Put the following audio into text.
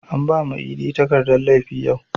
An bama idi takardan laifi yau